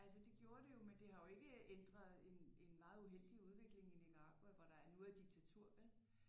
Altså det gjorde det jo men det har jo ikke ændret en en meget uheldig udvikling i Nicaragua hvor der nu er diktatur vel